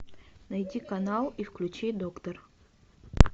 найди канал и включи доктор